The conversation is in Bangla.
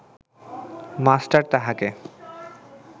মাস্টার তাহাকে